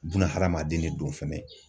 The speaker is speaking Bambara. Bunahadamaden de don fɛnɛ.